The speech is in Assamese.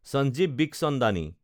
চাঞ্জীৱ বিখচন্দানী